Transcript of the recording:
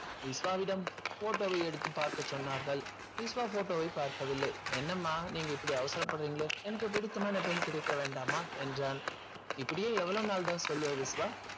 விஷ்வாவிடம் photo வை எடுத்து பார்க்க சொன்னார்கள் விஷ்வா photo வை பார்க்கவில்லை என்னம்மா நீங்க இப்படி அவசரப்படுறீங்களே எனக்கு பிடித்தமான பெண் கிடைக்க வேண்டாமா என்றான் இப்படியே எவ்வளவு நாள் தான் சொல்வ விஷ்வா